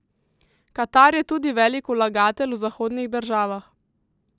Katar je tudi velik vlagatelj v zahodnih državah.